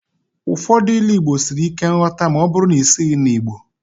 Ụfọdụ Ilu Igbo siri ike nghọta ma ọ bụrụ na isighị na Igbo